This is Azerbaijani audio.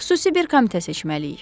Xüsusi bir komitə seçməliyik.